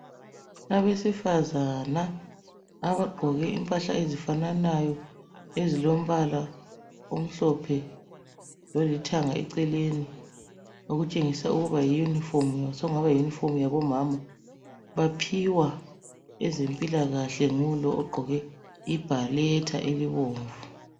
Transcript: Abesifazana abagqoke impahla ezifananayo, ezilombala omhlophe lolithanga eceleni, okutshengisa ukuba yi yunifomu, sokungana yiyunifomu yabomama. Baphiwa ezempilakahle ngulo ogqoke ibharetha elibomvu.